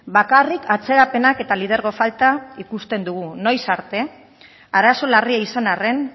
bakarrik atzerapenak eta lidergo falta ikusten dugu noiz arte arazo larria izan arren